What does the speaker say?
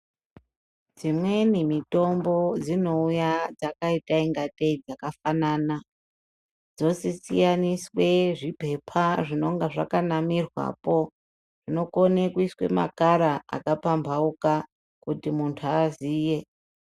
Imweni mitombo dzinouya dzakaita ingatei dzakafanana dzosiyaniswe zvipepa zvinenga zvakanamirwapo nokone kuiswe makara akapampauka kuti muntu aziye .